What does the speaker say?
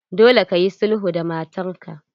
Dole kayi sulhu da matar ka!